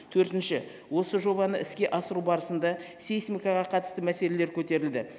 төртінші осы жобаны іске асыру барысында сейсмикаға қатысты мәселелер көтерілді